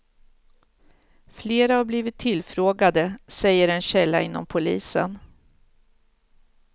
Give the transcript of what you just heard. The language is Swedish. Flera har blivit tillfrågade, säger en källa inom polisen.